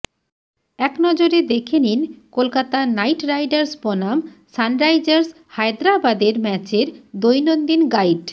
একনজরে দেখে নিন কলকাতা নাইট রাইডার্স বনাম সানরাইজার্স হায়দ্রাবাদের ম্যাচের দৈনন্দিন গাইড